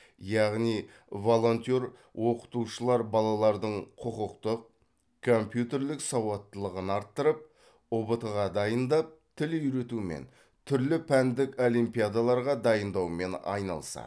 яғни волонтер оқытушылар балалардың құқықтық компьютерлік сауаттылығын арттырып ұбт ға дайындап тіл үйретумен түрлі пәндік олимпиадаларға дайындаумен айналысады